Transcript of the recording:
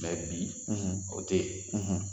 bi o te yen